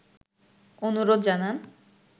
অনুরোধ জানান